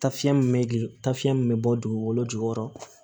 Taafiɲɛ min bɛ gil ta fiyɛn min bɛ bɔ dugukolo jukɔrɔ